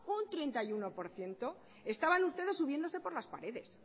un treinta y uno por ciento estaban ustedes subiéndose por las paredes